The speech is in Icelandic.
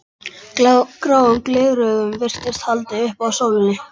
Gráum gleraugum virtist haldið upp að sólinni.